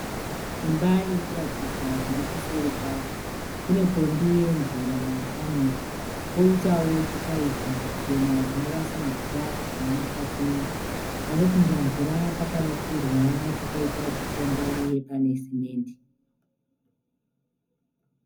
Imba iri kuratidzwa zviri kuseri kwayo. Kune pombi yemvura yakamira, poitawo chipaipi chichena chinorasa mvura kubva mukati memba. Panopinda mvura pakavakirwa pakaita chikomba uye pane simende.